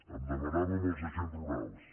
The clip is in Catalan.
em demanava sobre els agents rurals